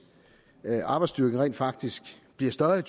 arbejdsstyrken rent faktisk bliver større i